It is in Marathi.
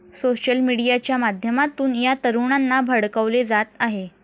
सोशल मीडियाच्या माध्यमातून या तरुणांना भडकवले जात आहे.